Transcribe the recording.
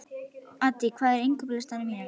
Addý, hvað er á innkaupalistanum mínum?